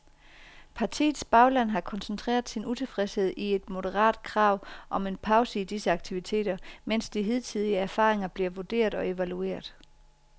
Partiets bagland har koncentreret sin utilfredshed i et moderat krav om en pause i disse aktiviteter, mens de hidtidige erfaringer bliver vurderet og evalueret.